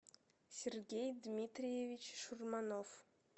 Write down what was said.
сергей дмитриевич шурманов